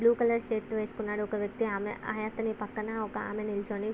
Blue colours shirt వేసుకున్నారు ఒక వ్యక్తి . ఆమె అతని పక్కన ఒక ఆమె నిలుచుని--